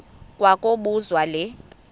kwa kobuzwa le